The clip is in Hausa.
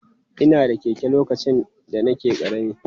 Ina da keke lokacin da nake ƙarami.